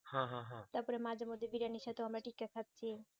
তার পরে মাঝে মধ্যে বিরিয়ানি খেতেও আমরা ঠিক থাক খাচ্ছি